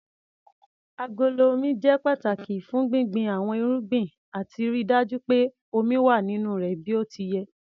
Agolo Omi jẹ́ pàtàki fún gbíngbin àwọn irúgbìn àti ríi dájú pé omi wà nínú rẹ̀ bí ó ti yẹ.